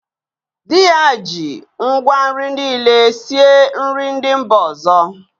Di ya ji ngwa nri niile sie nri ndị mba ọzọ.